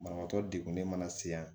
Banabaatɔ de mana se yan